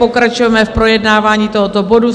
Pokračujeme v projednávání tohoto bodu.